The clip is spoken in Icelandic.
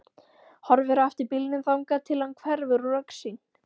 Horfir á eftir bílnum þangað til hann hverfur úr augsýn.